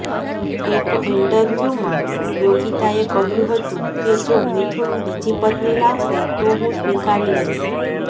એક ઈન્ટરવ્યુંમાં યોગિતાએ કહ્યું હતું કે જો મિથુન બીજી પત્ની લાવશે તો હું સ્વીકારી લઈશ